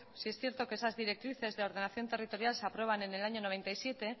sí es cierto que esas directrices de ordenación territorial se aprueban en el año noventa y siete